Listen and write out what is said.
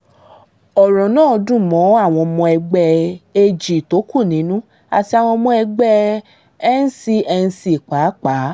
ọ̀rọ̀ náà dùn mọ́ àwọn ọmọ ẹgbẹ́ ag tó kú nínú àti àwọn ọmọ ẹgbẹ́ n cnc pàápàá